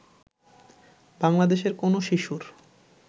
বাংলাদেশের কোন শিশুর